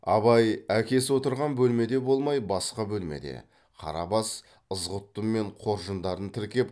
абай әкесі отырған бөлмеде болмай басқа бөлмеде қарабас ызғұттымен қоржындарын тіркеп